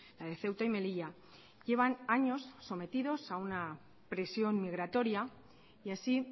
la de ceuta y melilla llevan años sometidos a una presión migratoria y así